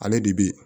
Ale de bi